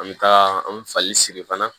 An bɛ taa an bɛ fali siri fana